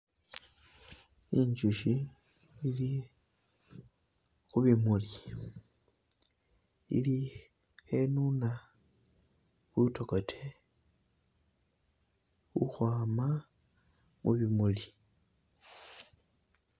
Inzuchi ili khubimuli ili khenuna butokote ukhwama mubimuli